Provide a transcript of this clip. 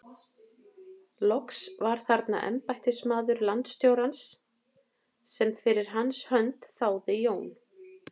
Loks var þarna embættismaður landstjórans sem fyrir hans hönd þáði Jón